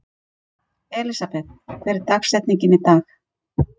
Elsabet, hver er dagsetningin í dag?